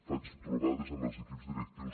faig trobades amb els equips directius